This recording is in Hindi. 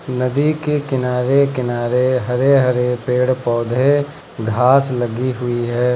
नदी के किनारे किनारे हरे हरे पेड़ पौधे घास लगी हुई है।